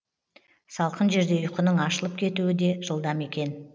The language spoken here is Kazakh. салқын жерде ұйқының ашылып кетуі де жылдам екен